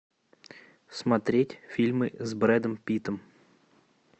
смотреть фильмы с брэдом питтом